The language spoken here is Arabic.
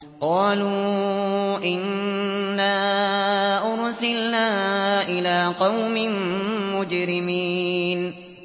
قَالُوا إِنَّا أُرْسِلْنَا إِلَىٰ قَوْمٍ مُّجْرِمِينَ